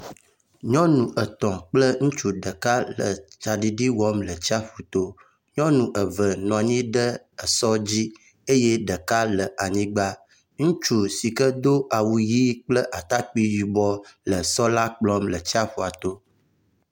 Nyɔnu etɔ̃ kple ŋutsu ɖeka le tsaɖiɖi wɔm le tsaƒu to. Nyɔnu eve nɔ anyi ɖe esɔ dzi eye ɖeka le anyigba. Ŋutsu si ke do awu ʋi kple atakpi yibɔ le esɔ la kplɔm le tsaƒua to.